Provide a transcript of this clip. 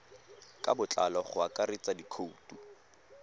ka botlalo go akaretsa dikhoutu